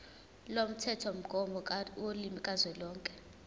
lomthethomgomo wolimi kazwelonke